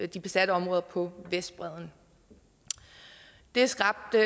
de besatte områder på vestbredden det skabte